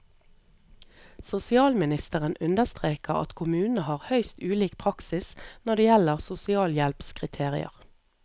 Sosialministeren understreker at kommunene har høyst ulik praksis når det gjelder sosialhjelpskriterier.